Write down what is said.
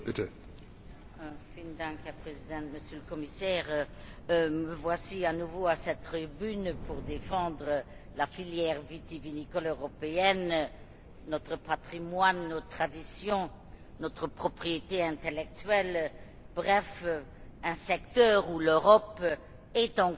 Monsieur le Président, Monsieur le Commissaire, me voici à nouveau à cette tribune pour défendre la filière vitivinicole européenne, notre patrimoine, nos traditions, notre propriété intellectuelle, bref un secteur où l'Europe est encore